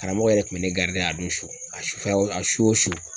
Karamɔgɔ yɛrɛ kun bɛ ne a don so a su o su.